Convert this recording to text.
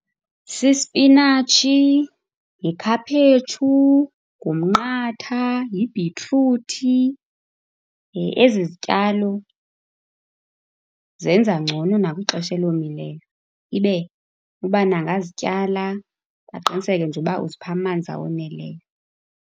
Sisipinatshi, yikhaphetshu, ngumnqatha, yibhitruthi. Ezi zityalo zenza ngcono nakwixesha elomileyo, ibe ubani angazityala. Aqiniseke nje uba uzipha amanzi awoneleyo.